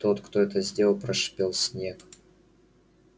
тот кто это сделал прошипел снегг